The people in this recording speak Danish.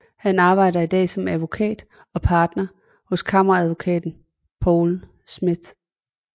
Han arbejder i dag som advokat og partner hos Kammeradvokaten Poul Schmith